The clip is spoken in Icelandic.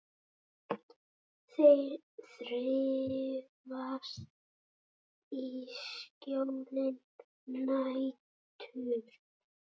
Þeir þrífast í skjóli nætur.